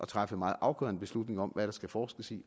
træffe meget afgørende beslutninger om hvad der skal forskes i